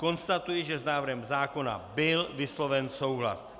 Konstatuji, že s návrhem zákona byl vysloven souhlas.